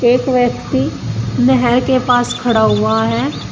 एक व्यक्ति नहर के पास खड़ा हुआ है।